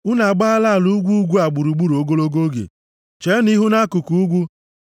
“Unu agbaala ala ugwu ugwu a gburugburu ogologo oge, cheenụ ihu nʼakụkụ ugwu.